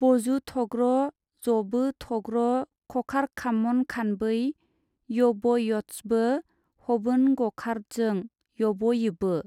बजुथग्र जबोथग्र खखारखामनखानबै- यबयदसबो हबोनगखारदजों यबयिबो।